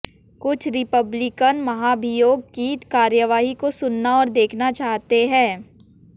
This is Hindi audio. कुछ रिपब्लिकन महाभियोग की कार्रवाई को सुनना और देखना चाहते हैं